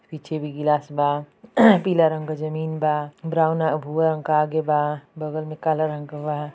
पीछे भी ग्लास बा पीला रंग जमीन बा ब्राउन अ भूरा रंग का आगे बा बगल में काला रंग के बा।